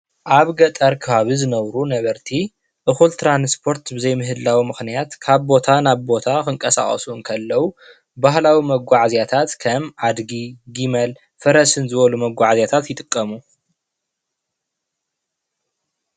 ኣብ ገጠር ከባቢ ዝነብሩ ነበርቲ እኩል ትራንስፖርት ብዘይ ምህላዉ ምክንያት ካብ ቦታ ናብ ቦታ ክንቀሳቀሱ እንከለዉ ባህላዊ መጓዓዝያታት ከም ኣድጊ ጊመል ፈረስን ዝበሉ መጓዓዝያታት ይጥቀሙ ።